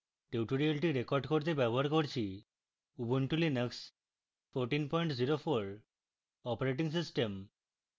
tutorial record করতে ব্যবহার করছি: